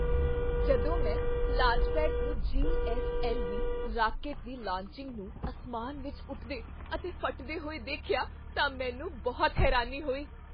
ਜਦੋਂ ਮੈਂ ਲਾਂਚਪੇਡ ਤੋਂ ਜੀ.ਐੱਸ.ਐੱਲ.ਵੀ. ਰਾਕੇਟ ਦੀ ਲਾਂਚਿੰਗ ਨੂੰ ਅਸਮਾਨ ਵਿੱਚ ਉੱਠਦੇ ਅਤੇ ਫਟਦੇ ਹੋਏ ਦੇਖਿਆ ਤਾਂ ਮੈਨੂੰ ਬਹੁਤ ਹੈਰਾਨੀ ਹੋਈ।